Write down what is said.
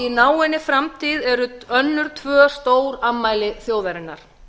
í náinni framtíð eru önnur tvö stórafmæli þjóðarinnar